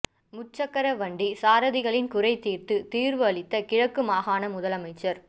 முச்சக்கர வண்டி சாரதிகளின் குறை தீர்த்து தீர்வு அளித்த கிழக்கு மாகாண முதலமைச்சர்